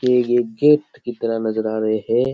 के ये एक गेट की तरह नजर आ रहे है।